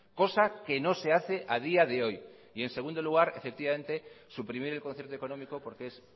cosa que no se hace a día de hoy y en segundo lugar efectivamente suprimir el concierto económico porque es